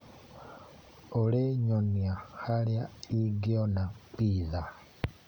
Olĩ nyonia harĩa ingĩona pitha.